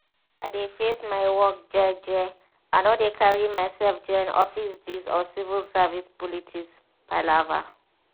i dey face my work jeje i no dey carry myself join office gist or civil service politics palava.